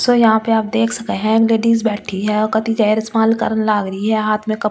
सो यहाँ पे देख सके है लेडीज बैठी है और कटी करने लाग रही है हाथ में कप पकड़।